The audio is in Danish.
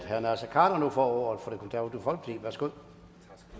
herre naser khader nu får ordet for